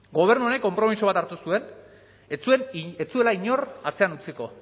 gobernu honek konpromiso bat hartu zuen ez zuela inor atzean utziko